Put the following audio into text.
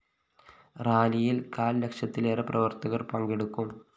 റാലിയില്‍ കാല്‍ലക്ഷത്തിലേറെ പ്രവര്‍ത്തകര്‍ പങ്കെടുക്കും